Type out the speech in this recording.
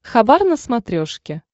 хабар на смотрешке